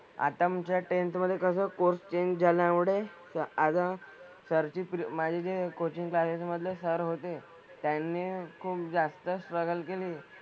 आता आमच्या tenth मधे कसं course change झाल्यामुळे ते आता sir ची माझी जे coaching classes मधले sir होते त्यांनी खूप जास्त struggle केली.